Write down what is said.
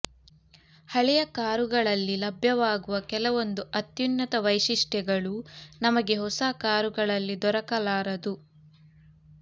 ಹಳೆಯ ಕಾರುಗಳಲ್ಲಿ ಲಭ್ಯವಾಗುವ ಕೆಲವೊಂದು ಅತ್ಯುನ್ನತ್ತ ವೈಶಿಷ್ಟ್ಯಗಳು ನಮಗೆ ಹೊಸ ಕಾರುಗಳಲ್ಲಿ ದೊರಕಲಾರದು